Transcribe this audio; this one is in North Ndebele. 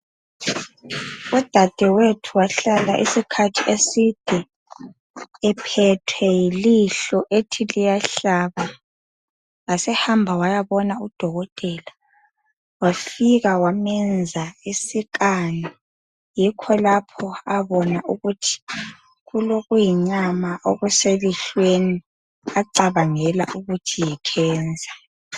Udadewethu wahlala isikhathi eside ephethwe yilihlo ethi liyahlaba, wasehamba waya bona udokotela wafika wamenza isi scan yikho lapho abona ukuthi kulokuyinyama okuselihlweni acabangela ukuthi yicancer.